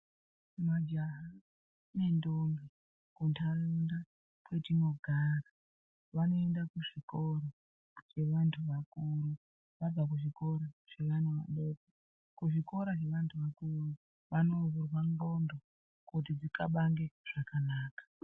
Majaha nendombi kuntaraunda kwetinogara vanoenda kuzvikoro zvevantu vakuru, vabva kuzvikoro zvevana vadoko. Kuzvikoro zvevantu vakuru vanovhurwa ndxondo kuti dzikabange zvakanaka.